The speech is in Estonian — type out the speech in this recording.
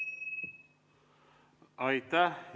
Aitäh!